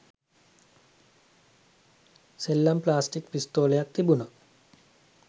සෙල්ලම් ප්ලාස්ටික් පිස්තෝලයක් තිබුනා